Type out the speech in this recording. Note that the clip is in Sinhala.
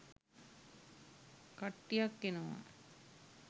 කට්ටියක් එනවා.